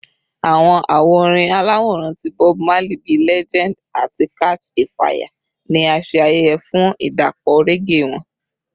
Awọn awo orin alaworan ti Bob Marley bii “Legend” ati “Catch a Fire” ni a ṣe ayẹyẹ fun idapọ reggae wọn.